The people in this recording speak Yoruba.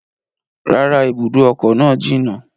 Rárá, ibùdó ọkọ̀ náà jìnà